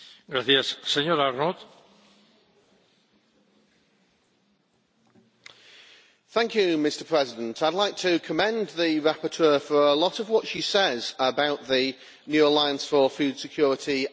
Mr President, I would like to commend the rapporteur for a lot of what she says about the New Alliance for Food Security and Nutrition.